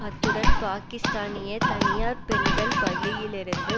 அத்துடன் பாக்கிஸ்தானிய தனியார் பெண்கள் பள்ளியிலிருந்து